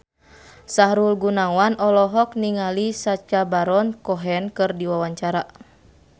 Sahrul Gunawan olohok ningali Sacha Baron Cohen keur diwawancara